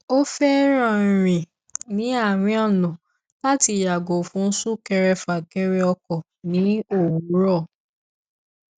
ó fẹ́ràn rìn ní àárín ọ̀nà láti yàgò fún súnkẹrẹfàkẹrẹ ọkọ ní òwúrọ̀